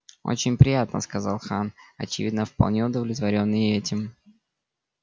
очень приятно сказал хан очевидно вполне удовлетворённый и этим